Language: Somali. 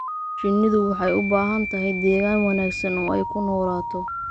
Shinnidu waxay u baahan tahay deegaan wanaagsan oo ay ku noolaato.